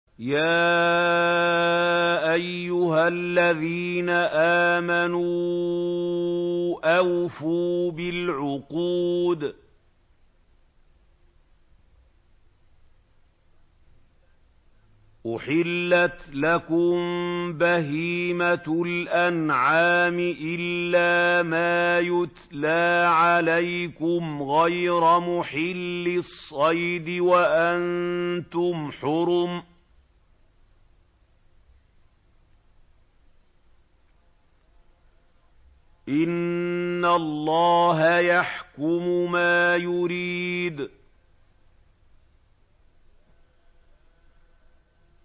يَا أَيُّهَا الَّذِينَ آمَنُوا أَوْفُوا بِالْعُقُودِ ۚ أُحِلَّتْ لَكُم بَهِيمَةُ الْأَنْعَامِ إِلَّا مَا يُتْلَىٰ عَلَيْكُمْ غَيْرَ مُحِلِّي الصَّيْدِ وَأَنتُمْ حُرُمٌ ۗ إِنَّ اللَّهَ يَحْكُمُ مَا يُرِيدُ